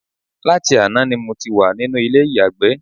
Láti àná ni mo ti wà nínú ilé ìyàgbẹ́